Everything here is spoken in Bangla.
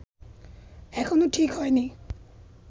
এখনো ঠিক হয়নি